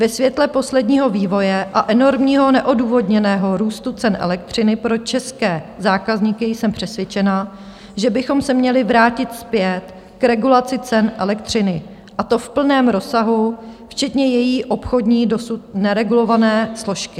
Ve světle posledního vývoje a enormního neodůvodněného růstu cen elektřiny pro české zákazníky jsem přesvědčena, že bychom se měli vrátit zpět k regulaci cen elektřiny, a to v plném rozsahu, včetně její obchodní, dosud neregulované složky.